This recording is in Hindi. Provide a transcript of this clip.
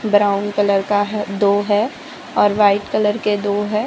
ब्राउन कलर का है दो है और वाइट कलर के दो है।